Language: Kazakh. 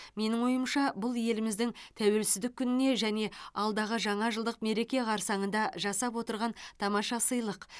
менің ойымша бұл еліміздің тәуелсіздік күніне және алдағы жаңа жылдық мереке қарсаңында жасап отырған тамаша сыйлық